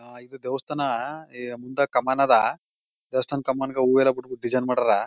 ಅಹ್ ಈದ್ ದೇವಸ್ಥಾನ ಇ ಮುಂದ ಕಮಾನ್ ಅದಾ. ದೇವಸ್ಥಾನ ಕಮಾನ್ಗ ಹೂಯೆಲ್ಲ ಬಿಟ್ಬಿಟ್ಟು ಡಿಸೈನ್ ಮಾಡಾರ.